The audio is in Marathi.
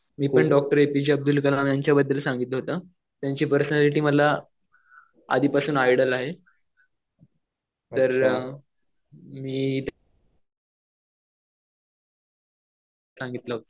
मी डॉक्टर एपीजे अब्दुल कलाम यांच्या बद्दल सांगतलं होतं. त्यांची पर्सनॅलिटी मला आधीपासून आयडॉल आहे. तर मी सांगतलं होतं.